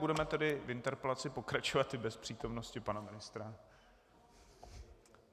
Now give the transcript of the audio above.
Budeme tedy v interpelaci pokračovat i bez přítomnosti pana ministra.